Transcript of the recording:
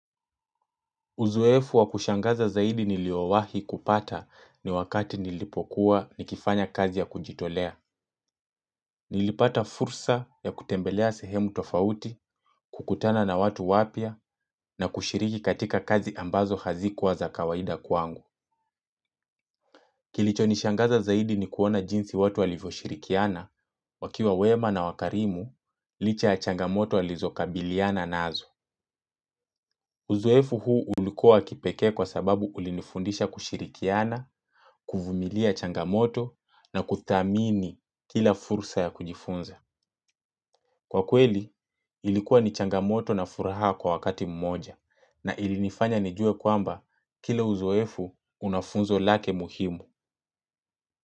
Uzoefu wa kushangaza zaidi niliyowahi kupata ni wakati nilipokuwa nikifanya kazi ya kujitolea. Nilipata fursa ya kutembelea sehemu tofauti, kukutana na watu wapya, na kushiriki katika kazi ambazo hazikuwa za kawaida kwangu. Kilichonishangaza zaidi ni kuona jinsi watu walivyoshirikiana, wakiwa wema na wakarimu, licha ya changamoto walizokabiliana nazo. Uzoefu huu ulikuwa wa kipekee kwa sababu ulinifundisha kushirikiana, kuvumilia changamoto na kuthamini kila fursa ya kujifunza. Kwa kweli, ilikuwa ni changamoto na furaha kwa wakati mmoja na ilinifanya nijue kwamba kila uzoefu una funzo lake muhimu.